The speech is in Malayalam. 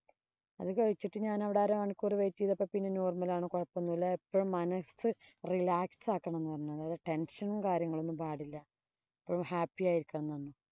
അത് കഴിച്ചിട്ട് ഞാനവിടെ അരമണിക്കൂര് wait ചെയ്തപ്പോ പിന്നെ normal ആണ്. കുഴപ്പം ഒന്നും ഇല്ല. എപ്പഴും മനസ് relax ആക്കണം എന്ന് പറഞ്ഞു. അതായത് tension ഉം, കാര്യങ്ങളും ഒന്നും പാടില്ല. എപ്പോഴും happy ആയിരിക്കണം എന്ന് പറഞ്ഞു.